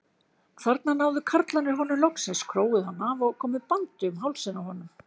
Þarna náðu karlarnir honum loksins, króuðu hann af og komu bandi um hálsinn á honum.